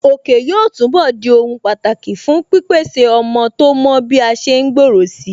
Òkè yóò túnbọ̀ di ohun pàtàkì fún pípèsè ọmọ tó mọ́ bí a ṣe ń gbòòrò si